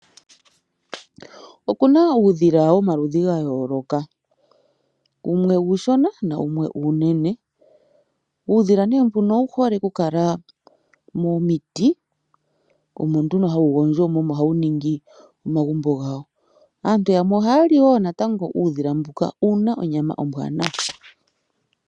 Oku na uudhila womaludhi ga yooloka. Wumwe uushona nawumwe uunene. Uudhila nee mbuno owu hole okukala momiti, omo nduno hawu gondjo mo omo hawu ningi omagumbo gawo. Aantu yamwe ohaya li wo natango uudhila mbuka. Owu na onyama ombwaanawa.